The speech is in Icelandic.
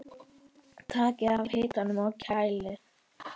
Takið af hitanum og kælið.